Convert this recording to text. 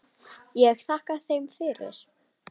Ég þakkaði þeim fyrir.